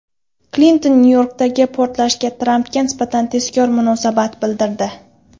Klinton Nyu-Yorkdagi portlashga Trampga nisbatan tezkor munosabat bildirdi.